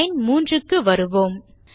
line 3 க்கு வரலாம்